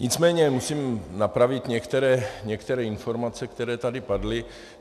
Nicméně musím napravit některé informace, které tady padly.